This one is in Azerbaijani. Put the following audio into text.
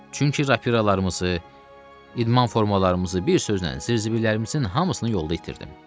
Çünki rapilalarımızı, idman formalarımızı, bir sözlə zırzıbillərimizin hamısını yolda itirdim.